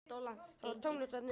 Það var tómlegt þarna inni.